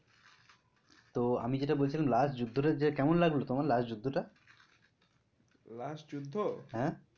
তো আমি যেটা বলছিলাম last যুদ্ধটা যে কেমন লাগলো তোমার? last যুদ্ধটা? হ্যাঁ